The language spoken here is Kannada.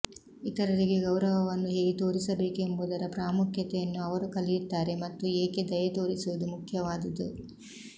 ಇತರರಿಗೆ ಗೌರವವನ್ನು ಹೇಗೆ ತೋರಿಸಬೇಕೆಂಬುದರ ಪ್ರಾಮುಖ್ಯತೆಯನ್ನು ಅವರು ಕಲಿಯುತ್ತಾರೆ ಮತ್ತು ಏಕೆ ದಯೆತೋರಿಸುವುದು ಮುಖ್ಯವಾದುದು